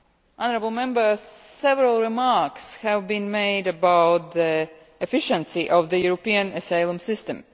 Honourable Members, several remarks have been made about the efficiency of the European asylum system.